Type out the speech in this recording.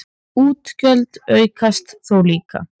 Útgjöld aukast þó líka.